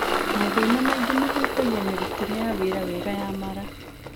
Mathĩna maingĩ mahutagia mĩrutĩre ya wira wega ya mara.